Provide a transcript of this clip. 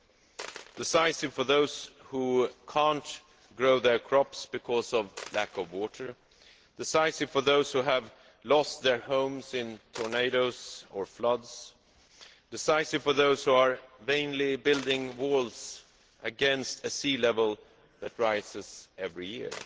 a meeting that was decisive for those who cannot grow their crops because of a lack of water, decisive for those who have lost their homes in tornadoes or floods, and decisive for those who are vainly building walls against a sea level that rises every year.